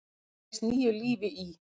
blés nýju lífi í.